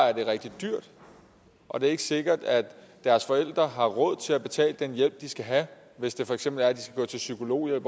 er det rigtig dyrt og det er ikke sikkert at deres forældre har råd til at betale den hjælp de skal have hvis det for eksempel er sådan at de skal gå til psykolog